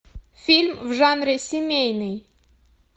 фильм в жанре семейный